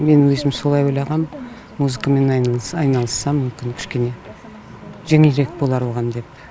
мен өзім солай ойлағам музыкамен айналысса мүмкін кішкене жеңілірек болар оған деп